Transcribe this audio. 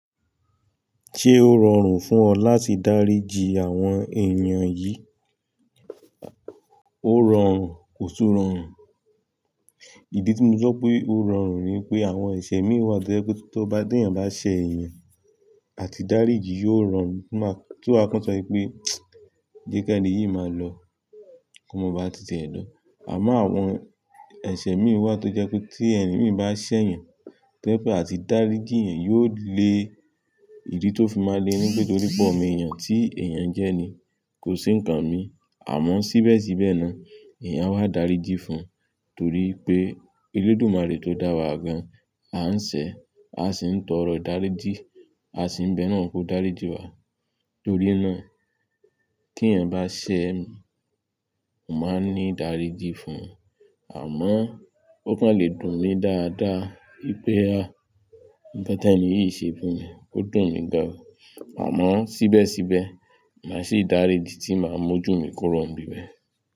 Ṣé ó rọrùn fún ọ láti dáríji àwọn èèyàn yìí? Ó rọrùn, kò tún rọrùn. Ìdí tí mo fe sọ pé ó rọrùn ni pé àwọn ẹ̀ṣẹ̀ mí wà tó jẹ́ pé tí ọba ti yàn bá ṣẹ̀yàn àti dáríji yóò rọrùn ti maa kàn sọ pé jẹ́ kẹ́ níyìí máa lọ kó máa ba ti tẹ̀ ẹ́ lọ. Àmọ́ àwọn ẹ̀ṣẹ̀ mì wà tó jẹ́ pé tí ẹni mì bá ṣẹ̀yàn tó jẹ́ pé a ti dáríji yan yóò le ìdí tó fi máa le ni pé torí pọ̀ mo èèyàn tí èèyàn jẹ́ ni kò sí nǹkan mi. Àmọ́ síbẹ̀síbẹ̀ náà èèyàn wá daríji fún un torí pé Olódùmarè tó dá wa gan à ń ṣẹ̀, a sì ń tọrọ daríji, a sì ń bẹ́ẹ̀ náà kó daríji wa. Torí náà kí eyin bá ṣẹ̀ mi, mo máa ní ìdáríji fún un. Àmọ́ ó kàn lè dùn mí dáadáa wípé à nǹkan tí ẹni yìí ṣe fún mi, ó dùn mí gan. Àmọ́ síbẹ̀síbẹ̀ màá sì dáríji tí màá mójú mi kuro n bíbẹ̀